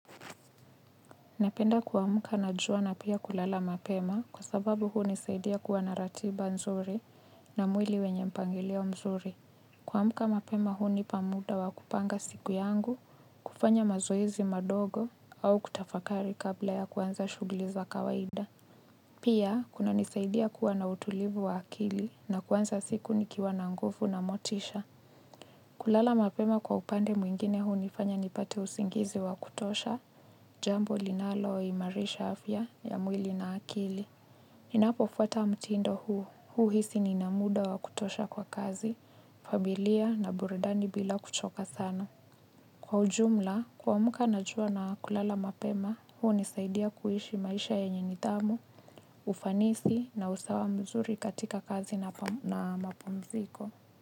Napenda kuamka na jua na pia kulala mapema kwa sababu hunisaidia kuwa na ratiba nzuri. Na mwili wenye mpangelio mzuri. Kuamka mapema hunipa muda wa kupanga siku yangu, kufanya mazoezi madogo au kutafakari kabla ya kuanza shughuli za kawaida. Pia kunanisaidia kuwa na utulivu wa akili na kuanza siku nikiwa na nguvu na motisha. Kulala mapema, kwa upande mwingine, hunifanya nipate usingizi wa kutosha. Jambo linaloimarisha afya ya mwili na akili. Ninapofuata mtindo huhisi nina muda wa kutosha kwa kazi familia na burudani bila kuchoka sana. Kwa ujumla, kuamka na jua na kulala mapema hunisaidia kuishi maisha ya nidhamu. Ufanisi na usawa mzuri katika kazi na mapumziko.